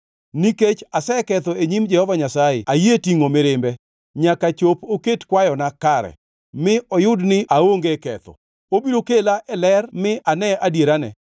Nikech aseketho e nyim Jehova Nyasaye ayie tingʼo mirimbe, nyaka chop oket kwayona kare, mi oyud ni aonge ketho. Obiro kela e ler mi ane adierane.